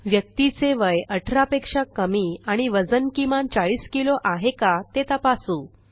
व्यक्तीचे वय 18पेक्षा कमी आणि वजन किमान 40किलो आहे का ते तपासू